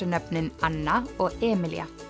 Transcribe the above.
nöfnin Anna og Emilía